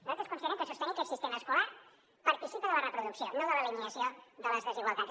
nosaltres considerem que sostenir aquest sistema escolar participa de la reproducció no de l’eliminació de les desigualtats